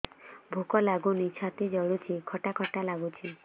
ଭୁକ ଲାଗୁନି ଛାତି ଜଳୁଛି ଖଟା ଖଟା ଲାଗୁଛି